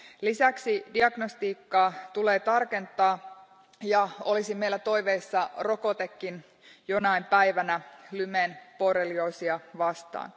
Lisäksi diagnostiikkaa tulee tarkentaa ja olisi meillä toiveissa rokotekin jonain päivänä Lymen borrelioosia vastaan.